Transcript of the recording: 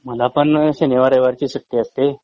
मला पण शनिवार रविवारची सुट्टी असते